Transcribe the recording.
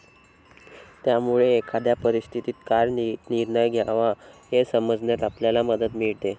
त्यामुळे, एखाद्या परिस्थितीत काय निर्णय घ्यावा हे समजण्यास आपल्याला मदत मिळते.